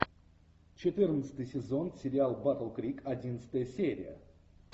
четырнадцатый сезон сериал батл крик одиннадцатая серия